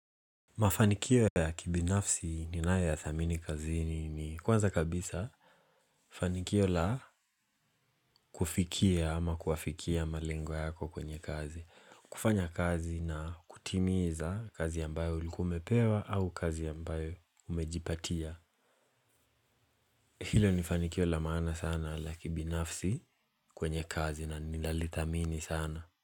Mafanikio ya kibinafsi ni naya ya thamini kazini ni kwanza kabisa fanikio la kufikia ama kuafikia malengo yako kwenye kazi. Kufanya kazi na kutimiza kazi ambayo ulikumepewa au kazi ambayo umejipatia. Hilo ni fanikio la maana sana la kibinafsi kwenye kazi na nilalitamini sana.